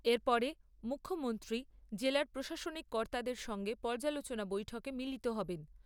এর পরে মুখ্যমন্ত্রী জেলার প্রশাসনিক কর্তাদের সঙ্গে পর্যালোচনা বৈঠকে মিলিত হবেন।